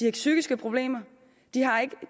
ikke psykiske problemer de har ikke